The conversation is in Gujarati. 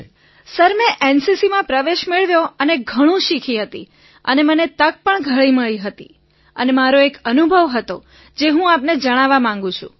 વિનોલેકિસો સર મેં એનસીસીમાં પ્રવેશ મેળવ્યો અને ઘણું શીખ્યો હતો અને મને તક પણ ઘણી મળી હતી અને મારો એક અનુભવ હતો જે હું આપને જણાવવા માગું છું